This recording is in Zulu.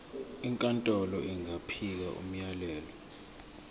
inkantolo ingakhipha umyalelo